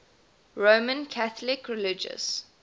roman catholic religious